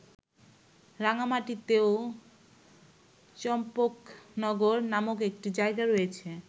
রাঙামাটিতেও চম্পকনগর নামক একটি জায়গা রয়েছে।